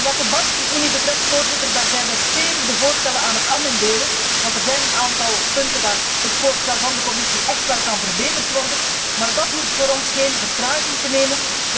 Wat de bankenunie betreft, Voorzitter, daar zijn wij de voorstellen stevig aan het amenderen, want er zijn een aantal punten waarop het voorstel van de Commissie echt wel verbeterd kan worden, maar dat hoeft voor ons geen vertraging op te lopen.